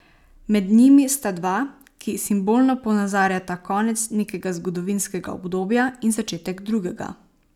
Med njimi sta dva, ki simbolno ponazarjata konec nekega zgodovinskega obdobja in začetek drugega.